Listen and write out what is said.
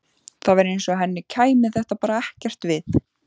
Það var eins og henni kæmi þetta bara ekkert við.